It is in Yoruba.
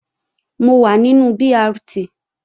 Mo wà nínú BRT